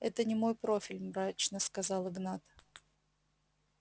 это не мой профиль мрачно сказал игнат